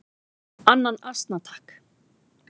"""Annan asna, takk!"""